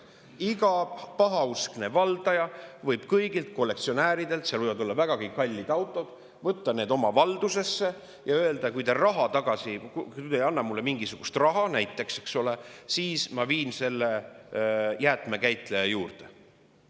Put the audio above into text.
Iga pahauskne valdaja võib võtta kollektsionääri võib-olla vägagi kallid autod oma valdusesse ja öelda, et kui see ei anna talle mingisugust raha – näiteks, eks ole –, siis ta viib need autod jäätmekäitleja juurde.